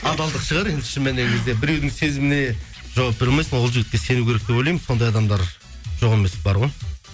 адалдық шығар шын мәніне келген кезде біреудің сезіміне жауап бере алмайсың ол жігітке сену керек деп ойлаймын сондай адамдар жоқ емес бар ғой